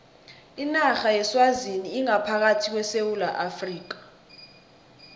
inarha yeswazini ingaphakathi kwesewula afrika